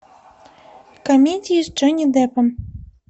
комедии с джонни деппом